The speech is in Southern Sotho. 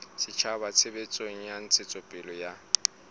setjhaba tshebetsong ya ntshetsopele ya